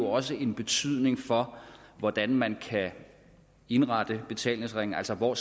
også har en betydning for hvordan man kan indrette betalingsringen altså hvor